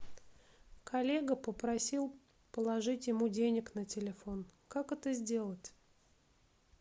коллега попросил положить ему денег на телефон как это сделать